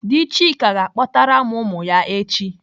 Dị Chika ga-akpọtara m ụmụ ya echi.